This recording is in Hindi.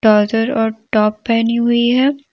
ट्राउजर और टॉप पहनी हुई है।